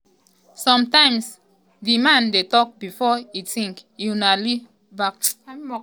sometimes di man dey tok before e tink" ighodalo fire back.